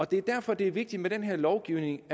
det er derfor det er vigtigt med den her lovgivning